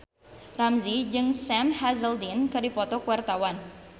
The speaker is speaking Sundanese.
Ramzy jeung Sam Hazeldine keur dipoto ku wartawan